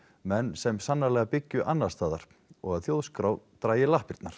menn sem sannarlega byggju annarsstaðar og að Þjóðskrá drægi lappirnar